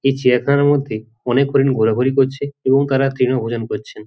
এই চিড়িয়াখানার মধ্যে অনেক হরিণ ঘোরাঘুরি করছে এবং তারা তৃণভোজন করছেন।